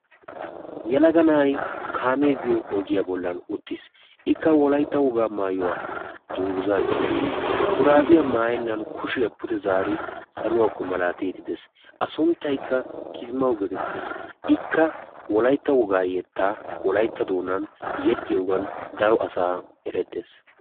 Yelaga na'ayi kaamee biyo ogiyan uttis ikka wolaytta wogaa maayuwa dungguzaa gixxidi shuraafiya maayennan kushiya pude zaaridi saluwakko malaatiiddi de'es. A sunttaykka kismawu geetettes. Ikka wolaytta wogaa yettaa wolaytta doonan yexxiyogan daro asaara erettes.